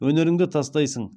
өнеріңді тастайсың